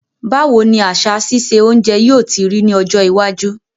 Báwoni àsà sise ounje yio ti rí ní ọjọ́ iwájú